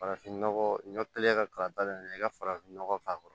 Farafinnɔgɔ kɛlen ka kalaba in na i ka farafinnɔgɔ k'a kɔrɔ